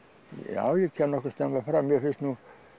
já ég kem nokkuð snemma fram mér finnst nú